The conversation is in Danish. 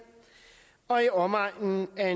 og i omegnen af